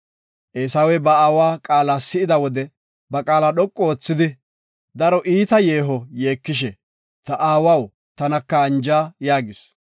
Eesawey ba aawa qaala si7ida wode ba qaala dhoqu oothidi, daro iita yeeho yeekishe, “Ta aawaw, tanaka anja” yaagis.